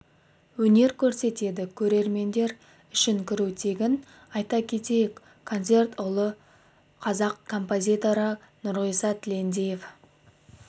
өнер көрсетеді көрермендер үшін кіру тегін айта кетейік концерт ұлы қазақ композиторы нұрғиса тілендиев